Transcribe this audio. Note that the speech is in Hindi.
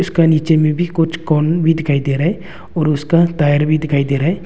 इसका नीचे में भी कुछ कौन भी दिखाई दे रहा है और उसका टायर भी दिखाई दे रहा है।